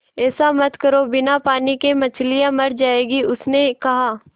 ऐसा मत करो बिना पानी के मछलियाँ मर जाएँगी उसने कहा